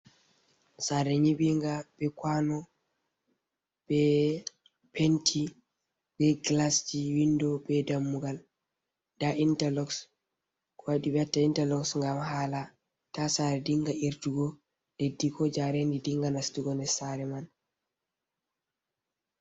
Sare nyiɓinga be kwano be penti be gilasji windo be dammugal, nda interloks, kowaɗi ɓe watta interloks ngam hala ta sare dinga irtugo leddi, ko jarendi dinga nastugo nder sare man.